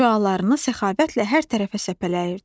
Şüalarını səxavətlə hər tərəfə səpələyirdi.